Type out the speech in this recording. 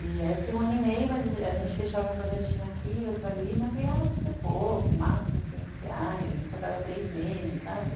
E aí eu fiquei um ano e meio, mas a gente fechava um projetinho aqui, outro ali, mas ganhava super pouco, máximo quinhentos reais, isso a cada três meses, sabe?